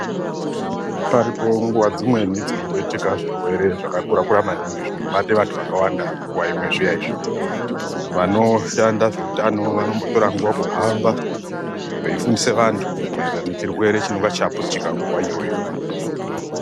Paripo nguva dzimweni dzinomboitike zvirwere zvakakura-kura maningi zvinobate vantu vakawanda nguva imwe zviya izvi. Vanoshanda zveutano vanombotora nguva kuhamba veifundisa antu maererano nechirwere chinenge chaputika nguva iyoyo.